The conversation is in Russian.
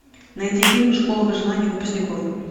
найти фильм школа выживания выпускников